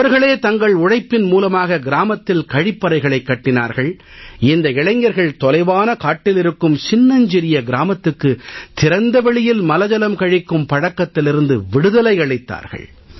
அவர்களே தங்கள் உழைப்பின் மூலமாக கிராமத்தில் கழிப்பறைகளைக் கட்டினார்கள் இந்த இளைஞர்கள் தொலைவான காட்டில் இருக்கும் சின்னஞ்சிறிய கிராமத்துக்கு திறந்த வெளியில் மலஜலம் கழிக்கும் பழக்கத்திலிருந்து விடுதலை அளித்தார்கள்